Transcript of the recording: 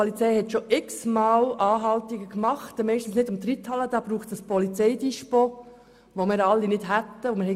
Die Polizei hat schon x-mal Anhaltungen gemacht, meistens nicht bei der Reithalle, denn dafür braucht es ein Polizeidispo, das wir nicht haben.